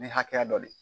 Ni hakɛya dɔ de ye